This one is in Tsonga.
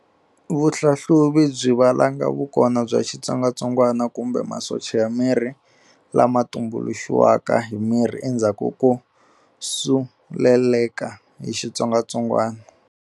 Vuhlahluvi byi valanga vukona bya xitsongatsongana kumbe masocha ya miri lama tumbuluxiwaka hi miri endhzaku ko suleleka hi xitsongatsongwana.